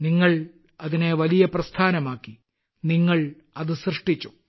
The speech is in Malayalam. നിങ്ങൾ അതിനെ വലിയ പ്രസ്ഥാനമാക്കി നിങ്ങൾ അതു സൃഷ്ടിച്ചു